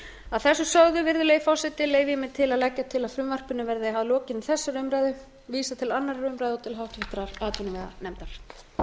að þessu sögðu virðulegi forseti leyfi ég mér að leggja til að frumvarpinu verði að lokinni þessari umræðu vísað til annarrar umræðu og til háttvirtrar atvinnuveganefndar